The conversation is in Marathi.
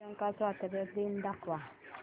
श्रीलंका स्वातंत्र्य दिन दाखव